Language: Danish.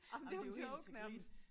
Jamen det jo en joke nærmest